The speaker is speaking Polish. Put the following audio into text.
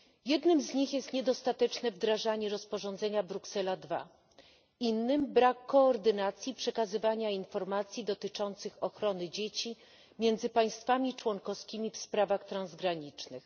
Jednym z nich jest niedostateczne wdrażanie rozporządzenia Bruksela 2, innym brak koordynacji przekazywania informacji dotyczących ochrony dzieci między państwami członkowskimi w sprawach transgranicznych.